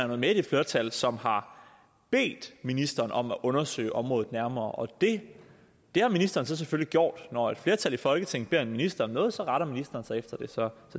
med i det flertal som har bedt ministeren om at undersøge området nærmere og det har ministeren så selvfølgelig gjort når et flertal i folketinget beder en minister om noget så retter ministeren sig efter det så